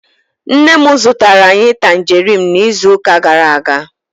Nne m zụtara anyị tanjeriin n'izuụka gara-aga.